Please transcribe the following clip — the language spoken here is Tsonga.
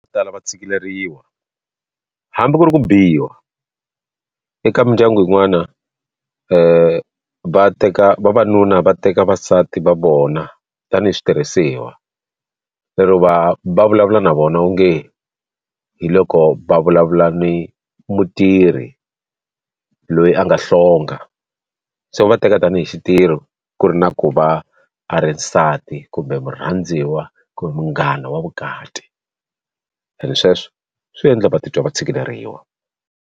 tala va tshikeleriwa hambi ku ri ku biwa eka mindyangu yin'wana va teka vavanuna va teka vasati va vona tanihi switirhisiwa lero va va vulavula na vona onge hi loko va vulavula ni mutirhi loyi a nga hlonga se va teka tanihi xitirho ku ri na ku va a ri nsati kumbe murhandziwa kumbe munghana wa vukati and sweswo swi endla vatitwa va tshikeleriwa.